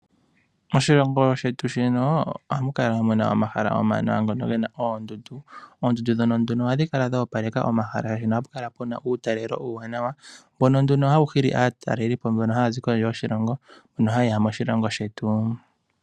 Moshilongo shetu shino ohamu kala omahala omawanawa ngono ge na oondundu. Oondundu ndhono ohadhi kala dhoopaleka omahala, oshoka ohapu kala pu na uutalelo uuwanawa. Mbono nduno hawu hili aatalelipo mbono haya zi kondje yoshilongo mbono haye ya moshilongo shetu.